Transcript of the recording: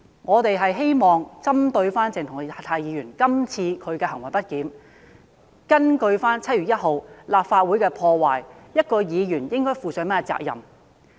我們只是希望針對鄭松泰議員今次的行為不檢，基於7月1日立法會被破壞一事，討論一位議員應該負上甚麼責任的問題。